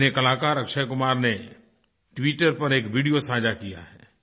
सिनेकलाकार अक्षय कुमार ने ट्विटर पर एक वीडियो साझा किया है